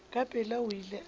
ka pela o ile a